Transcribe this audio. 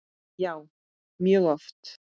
Já, mjög oft.